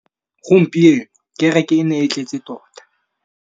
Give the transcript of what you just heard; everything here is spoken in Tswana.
Gompieno kêrêkê e ne e tletse tota.